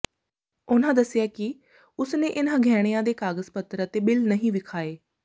ਉਨ੍ਹਾਂ ਦੱਸਿਆ ਕਿ ਉਸਨੇ ਇਨ੍ਹਾਂ ਗਹਿਣਿਆਂ ਦੇ ਕਾਗਜ਼ ਪੱਤਰ ਅਤੇ ਬਿੱਲ ਨਹੀਂ ਵਿਖਾਏ